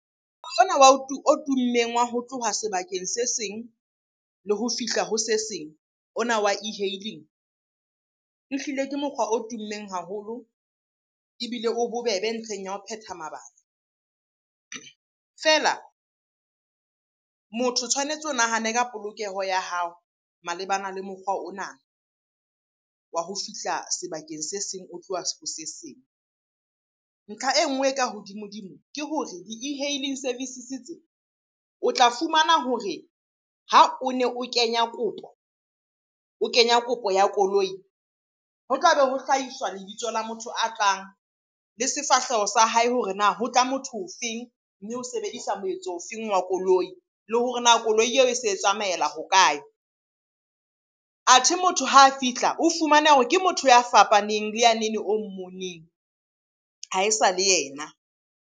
Mokgwa ona wa o tummeng wa ho tloha sebakeng se seng le ho fihla ho se seng ona wa e-hailing, ehlile ke mokgwa o tummeng haholo ebile o bobebe ntlheng ya ho phetha mabaka. Feela motho o tshwanetse o nahane ka polokeho ya hao malebana le mokgwa ona wa ho fihla sebakeng se seng o tloha se seng. Ntlha e nngwe e ka hodimo-dimo ke hore di-e-hailing services tse, o tla fumana hore ha o ne o kenya kopo, o kenya kopo ya koloi. Ho tlabe ho hlahiswa lebitso la motho a tlang, le sefahleho sa hae hore na ho tla motho o feng? Mme o sebedisa moetso o feng wa koloi? Le hore na koloi eo e se e tsamaela ho kae? Athe motho ha a fihla, o fumane hore ke motho ya fapaneng le yanene o mmoneng. Ha e sa le yena.